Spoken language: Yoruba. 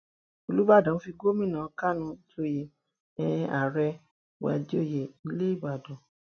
olùbàdàn fi gomina kánó joyè um ààrẹ fíwájọyé ilé ìbàdàn